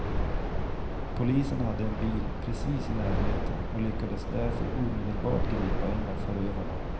Polisen hade en bil precis i närheten och lyckades därför omedelbart gripa en av förövarna.